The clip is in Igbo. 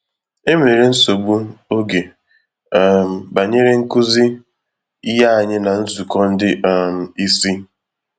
Enwere nsogbu ògè um banyere nkụzi ihe ànyị ná nzukọ ndị um ìsì.